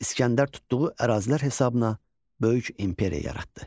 İsgəndər tutduğu ərazilər hesabına böyük imperiya yaratdı.